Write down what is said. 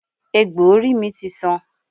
Egbò orí mi ti san.